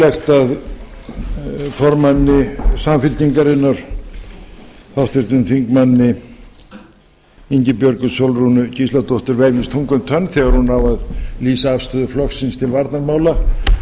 er eðlilegt að formanni samfylkingarinnar háttvirtur þingmaður ingibjörgu sólrúnu gísladóttur vefjist tunga um tönn þegar hún á að lýsa afstöðu flokksins til varnarmála jón